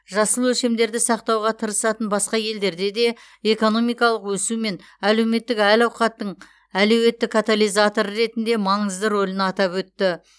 жасыл өлшемдерді сақтауға тырысатын басқа елдерде де экономикалық өсу мен әлеуметтік әл ауқаттың әлеуетті катализаторы ретінде маңызды рөлін атап өтті